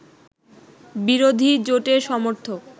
বিরোধী জোটের সমর্থক